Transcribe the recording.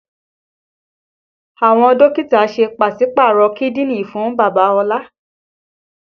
Àwọn Dókítà ṣe pásípàrọ kídìní fún bàbá ola